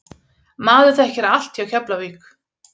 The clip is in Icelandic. Maður þekkir allt hjá Keflavík.